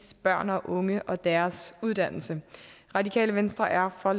børn og unge og deres uddannelse radikale venstre er for